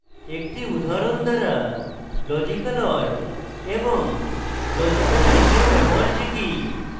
একটি উদাহরণ দ্বারা লজিক্যাল or এবং লজিক্যাল and or ব্যবহার শিখি